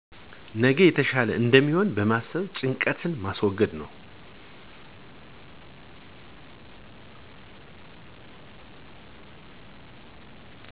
ነገ የተሻለ እንደሚሆን በማሰብ ጭንቀትን ማስወገድ ነው።